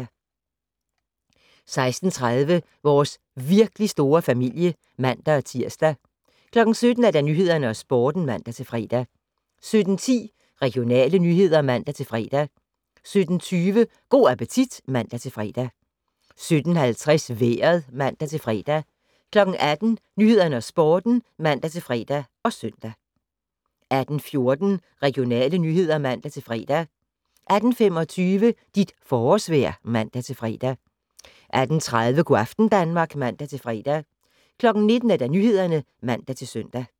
16:30: Vores virkelig store familie (man-tir) 17:00: Nyhederne og Sporten (man-fre) 17:10: Regionale nyheder (man-fre) 17:20: Go' appetit (man-fre) 17:50: Vejret (man-fre) 18:00: Nyhederne og Sporten (man-fre og søn) 18:14: Regionale nyheder (man-fre) 18:25: Dit forårsvejr (man-fre) 18:30: Go' aften Danmark (man-fre) 19:00: Nyhederne (man-søn)